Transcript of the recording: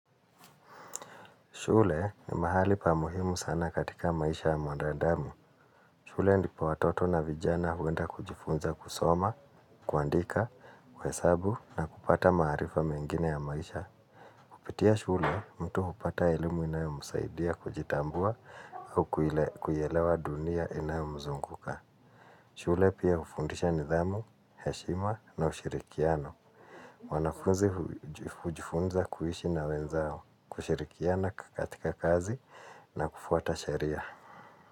Shule ni mahali pa muhimu sana katika maisha ya mwandadamu. Shule ndipo watoto na vijana huenda kujifunza kusoma, kuandika, kuhesabu na kupata maarifa mengine ya maisha. Pitia shule mtu hupata elimu inayomusaidia kujitambua au kuielewa dunia inayomuzunguka. Shule pia hufundisha nidhamu, heshima na ushirikiano. Wanafunzi hujifunza kuishi na wenzao kushirikiana katika kazi na kufuata sheria.